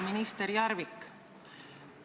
Minister Järvik!